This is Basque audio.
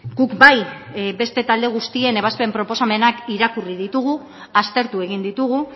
guk bai beste talde guztien ebazpen proposamenak irakurri ditugu aztertu egin ditugu